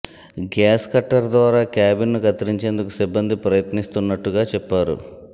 gas cutter ద్వారా cabin ను కత్తిరించేందుకు సిబ్బంది ప్రయత్నిస్తున్నట్టుగా చెప్పారు